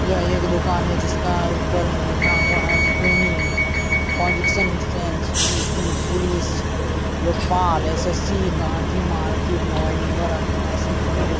यह एक दुकान है जिसका ऊपर में लिखा हुआ हैं पियोनि यूफी लोखपाल SSC Gandhi market mobile number अठासी पन्द्रह --